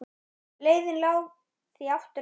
Leiðin lá því aftur á